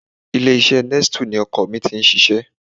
Ilé-iṣẹ́ Nestle ni ọkọ mi ti ń ṣiṣẹ́